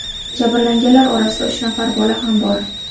Jabrlanganlar orasida uch nafar bola ham bor.